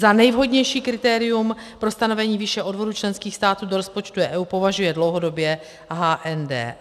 Za nejvhodnější kritérium pro stanovení výše odvodů členských států do rozpočtu EU považuje dlouhodobě HND.